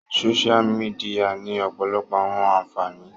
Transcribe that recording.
Sósia mìdìya ni ọpọlọpọ awọn anfani